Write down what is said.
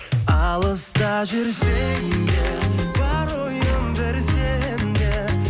алыста жүрсем де бар ойым бір сенде